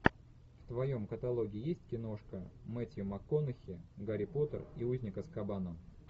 в твоем каталоге есть киношка мэттью макконахи гарри поттер и узник азкабана